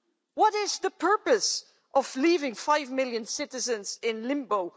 What is the purpose of leaving five million citizens in limbo?